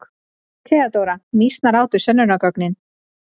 THEODÓRA: Mýsnar átu sönnunargögnin.